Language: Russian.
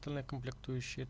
ные комплектующие